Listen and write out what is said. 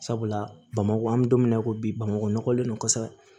Sabula bamakɔ an bɛ don min na i ko bi bamakɔ nɔgɔlen don kosɛbɛ